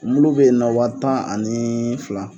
Mulu bɛ ye nɔ wa tan ani fila.